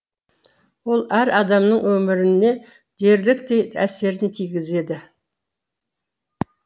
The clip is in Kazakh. ол әр адамның өміріне дерліктей әсерін тигізеді